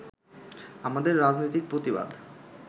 আমাদের রাজনৈতিক প্রতিবাদ